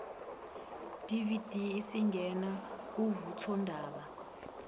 dvd isingena kuvuthondaba